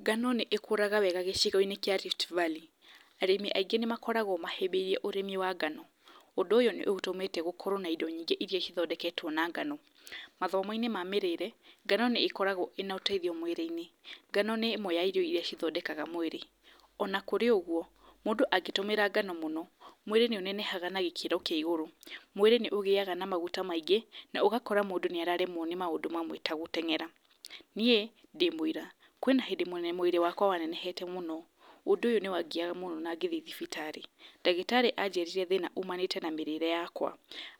Ngano nĩ ĩkũraga wega gĩcigo-inĩ kĩa Rift Valley, arĩmi aingĩ nĩ makoragwo mahĩbĩrie ũrĩmi wa ngano, ũndũ ũyũ nĩ ũtũmĩte gũkorwo na indo nyingĩ iria cithondeketwo na ngano, mathomo-inĩ ma mĩrĩre, ngano nĩ ĩkoragwo ĩna ũteitnhio mwĩrĩ-inĩ, ngano nĩmwe yario iria cithondekaga mwĩrĩ, ona kũrĩ ũguo, mũndũ angĩtũmĩra ngano mũno, mwĩrĩ nĩũneneha nagĩkĩro kĩa gũrũ, mwĩrĩ nĩ ũgĩaga na maguta maingĩ, nogakora mũndũ nĩ araremwo nĩ maũndũ mamwe ta gũtengera, niĩ ndĩmũira, kwĩna hĩndĩ ĩmwe mwĩrĩ wakwa wanenehete mũno, ũndũ ũyũ nĩ wangiyaga mũno na ngĩthiĩ thibitarĩ, ndagĩtarĩ anjĩrire thĩna ũmanĩte na mĩrĩre yakwa,